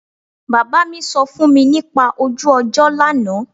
Bàbá mi sọ fún mi nípa ojú ọjọ́ lánàá